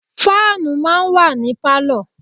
Fáànù máa ń wà ní Pálọ̀.